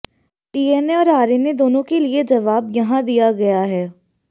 DNA और RNA दोनों के लिए जवाब यहां दिया गया है